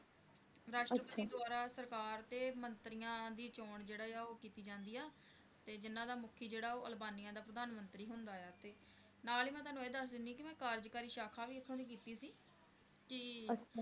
ਰਾਸ਼ਟਰਪਤੀ ਦੁਆਰਾ ਸਰਕਾਰ ਤੇ ਮੰਤਰੀਆਂ ਦੀ ਚੋਣ ਜਿਹੜੀ ਆ ਉਹ ਕੀਤੀ ਜਾਂਦੀ ਆ ਤੇ ਜਿਹਨਾਂ ਦਾ ਮੁਖੀ ਜਿਹੜਾ ਆ ਉਹ ਦਾ ਪ੍ਰਧਾਨ ਮੰਤਰੀ ਹੁੰਦਾ ਆ ਨਾਲ ਹੀ ਮੈਂ ਇਹ ਵੀ ਤੁਹਾਨੂੰ ਦਸ ਦਿਨੀ ਆ ਕਿ ਮੈਂ ਕਾਰਜਕਾਰੀ ਸ਼ਾਖਾ ਵੀ ਓਥੇ ਦੀ ਕੀਤੀ ਸੀ l